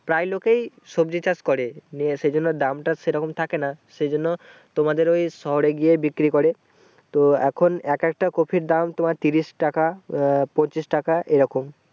প্রায় লোকেই সবজি চাষ করে নিয়ে সেই জন্য দাম তো সেই রকম থাকে না সেই জন্য তোমাদের ওই শহরে গিয়ে বিক্রি করে তো এখন এক একটার কপির দাম তোমার ত্রিশ টাকা আহ পঁচিশ টাকা এইরকম ।